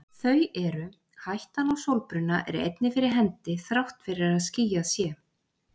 Þau eru: Hættan á sólbruna er einnig fyrir hendi þrátt fyrir að skýjað sé.